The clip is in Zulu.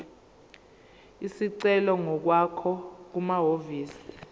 isicelo ngokwakho kumahhovisi